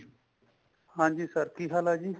ਹਾਂਜੀ sir ਕੀ ਹਾਲ ਹੈ ਜੀ